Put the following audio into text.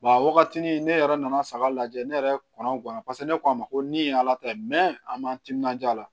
a wagati ni ne yɛrɛ nana saga lajɛ ne yɛrɛ kɔngɔn na paseke ne ko a ma ko ni ye ala ta ye an m'an timinanja a la